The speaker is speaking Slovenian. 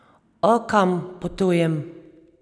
O, kam potujem?